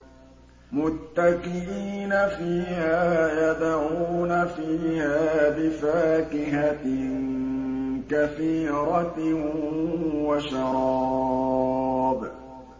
مُتَّكِئِينَ فِيهَا يَدْعُونَ فِيهَا بِفَاكِهَةٍ كَثِيرَةٍ وَشَرَابٍ